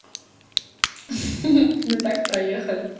ха-ха да так проехали